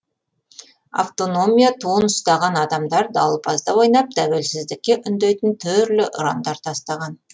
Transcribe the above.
автономия туын ұстаған адамдар дауылпазда ойнап тәуелсіздікке үндейтін түрлі ұрандар тастаған